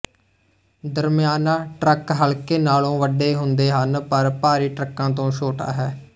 ਦਰਮਿਆਨਾ truck ਹਲਕੇ ਨਾਲੋਂ ਵੱਡੇ ਹੁੰਦੇ ਹਨ ਪਰ ਭਾਰੀ ਟਰੱਕਾਂ ਤੋਂ ਛੋਟਾ ਹੈ